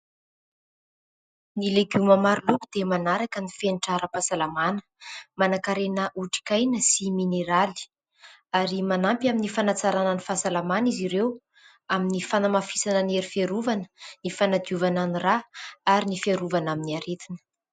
Ny legioma maro loko dia manaraka ny fenitra ara-pahasalamana. Manankarena otrikaina sy mineraly ary manampy amin'ny fanatsarana ny fahasalamana izy ireo amin'ny fanamafisana ny hery fiarovana, ny fanadiovana ny ra ary ny fiarovana amin'ny aretina.